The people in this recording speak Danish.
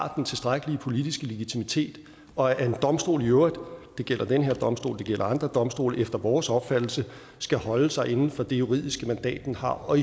har den tilstrækkelige politiske legitimitet og at en domstol i øvrigt det gælder den her domstol det gælder andre domstole efter vores opfattelse skal holde sig inden for det juridiske mandat den har og